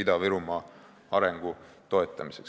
Ida-Virumaa arengu toetamiseks.